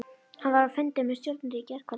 Hann var á fundi með stjórninni í gærkvöldi.